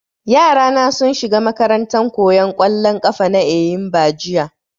Yara na sun shiga makarantan koyan ƙwallon ƙafa ta Eyimba jiya